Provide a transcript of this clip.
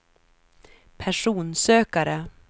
personsökare